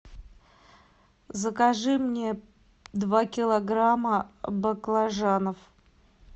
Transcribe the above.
закажи мне два килограмма баклажанов